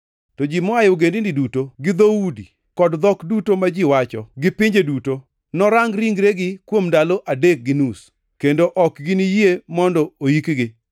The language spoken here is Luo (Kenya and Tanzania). To ji moa e ogendini duto gi dhoudi, kod dhok duto ma ji wacho gi pinje duto, norang ringregi kuom ndalo adek gi nus, kendo ok giniyie mondo oyikgi.